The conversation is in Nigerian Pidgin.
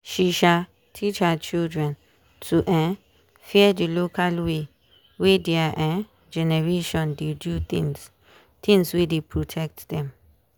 she um teach her children to um fear the local way way their um generation dey do things things wey dey protect them